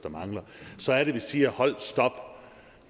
så er det vi siger holdt stop